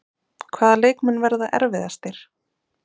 Hvaða leikmenn verða erfiðastir?